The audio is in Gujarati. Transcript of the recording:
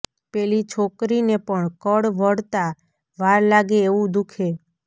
પેલી છોકરીને પણ કળ વળતા વાર લાગે એવું દુઃખે